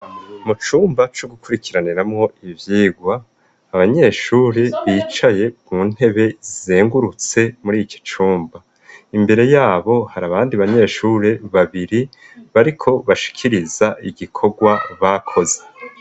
Mu cumba co gukurikiraniramwo ivyigwa, abanyeshure bicaye ku ntebe zengurutse muri iki cumba, imbere yabo hari abandi banyeshure babiri bariko bashikiriza igikorwa bakoze.